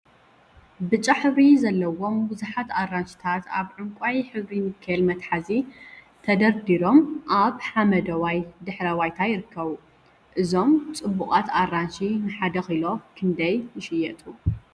ብጫ ሕብሪ ዘለዎም ቡዙሓት ኣራንሺታት ኣብ ዕንቃይ ሕብሪ ኒከል መትሓዚ ተደርዲሮም ኣብ ሓመደዋይ ድሕረ ባይታ ይርከቡ። እዞም ጽቡቃት ኣራንሺ ንሓደ ኪሎ ክንደይ ይሽየጡ?